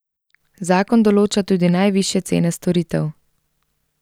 Zakon določa tudi najvišje cene storitev.